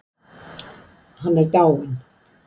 Hann er dáinn.